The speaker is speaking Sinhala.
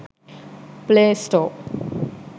play store